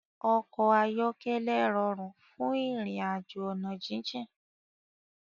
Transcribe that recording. Òkò áyòkèlè ròrún fún irinàjó òná jijin